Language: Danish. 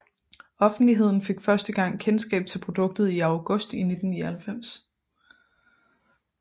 Offentligheden fik første gang kendskab til produktet i august 1999